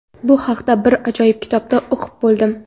Bu haqida bir ajoyib kitobda o‘qib qoldim.